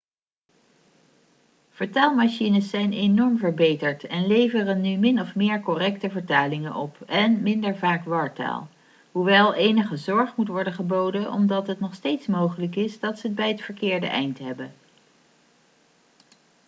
vertaalmachines zijn enorm verbeterd en leveren nu min of meer correcte vertalingen op en minder vaak wartaal hoewel enige zorg moet worden geboden omdat het nog steeds mogelijk is dat ze het bij het verkeerde eind hebben